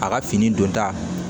A ka fini don ta